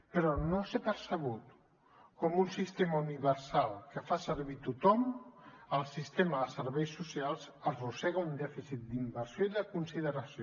però en no ser percebut com un sistema universal que fa servir tothom el sistema de serveis socials arrossega un dèficit d’inversió i de consideració